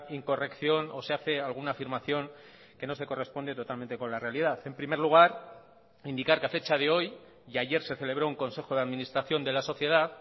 incorrección o se hace alguna afirmación que no se corresponde totalmente con la realidad en primer lugar indicar que a fecha de hoy y ayer se celebró un consejo de administración de la sociedad